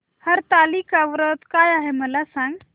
हरतालिका व्रत काय आहे मला सांग